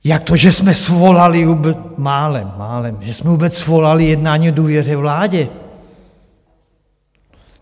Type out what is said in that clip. Jak to, že jsme svolali - málem, málem - že jsme vůbec svolali jednání o důvěře vládě.